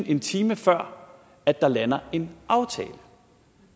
en time før at der lander en aftale